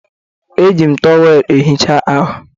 Eji m tọweelụ ehicha ahụ